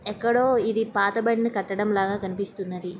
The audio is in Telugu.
ఎక్కడో ఇది పాతబడిన కట్టడం లాగ కనిపిస్తున్నది.